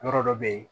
Yɔrɔ dɔ bɛ yen